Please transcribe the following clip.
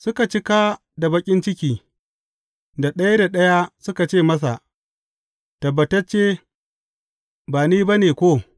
Suka cika da baƙin ciki, da ɗaya ɗaya suka ce masa, Tabbatacce, ba ni ba ne, ko?